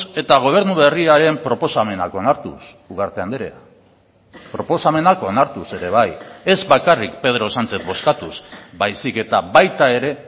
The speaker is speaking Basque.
eta gobernu berriaren proposamenak onartuz ugarte andrea proposamenak onartuz ere bai ez bakarrik pedro sánchez bozkatuz baizik eta baita ere